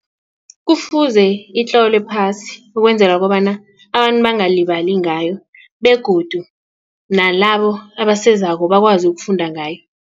Kufuze itlolwe phasi ukwenzela kobana abantu bangalibali ngayo begodu nalabo abasezako bakwazi ukufunda ngayo.